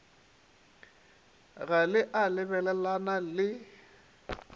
ga le a lebelelana le